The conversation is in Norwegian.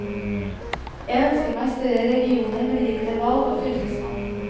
Jeg ønsker meg større regioner med direkte valg av fylkesmann.